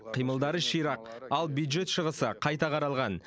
қимылдары ширақ ал бюджет шығысы қайта қаралған